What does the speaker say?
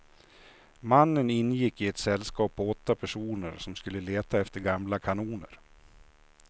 Mannen ingick i ett sällskap på åtta personer som skulle leta efter gamla kanoner.